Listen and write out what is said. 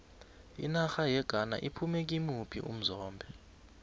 inarha yeghana iphume kimuphi umzombe